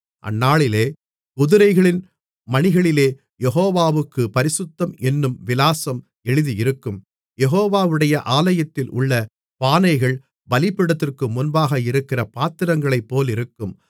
அந்நாளிலே குதிரைகளின் மணிகளிலே யெகோவாவுக்குப் பரிசுத்தம் என்னும் விலாசம் எழுதியிருக்கும் யெகோவாவுடைய ஆலயத்திலுள்ள பானைகள் பலிபீடத்திற்கு முன்பாக இருக்கிற பாத்திரங்களைப் போலிருக்கும்